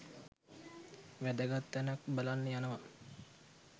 වැදගත් තැනක් බලන්න යනවා.